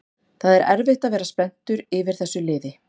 Það er erfitt að vera spenntur yfir þessu liði